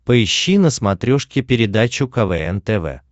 поищи на смотрешке передачу квн тв